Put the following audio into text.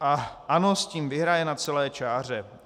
A ANO s tím vyhraje na celé čáře.